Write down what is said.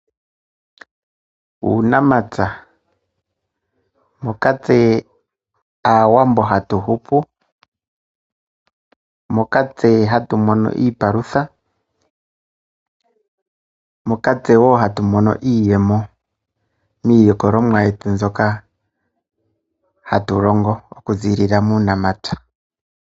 Uunamapya moka tse Aawambo hatu hupu, moka tse hatu mono iipalutha, moka tse woo hatu mono iiyemo miilikololwa yetu mbyoka hatu longo okuziilila muunamapya.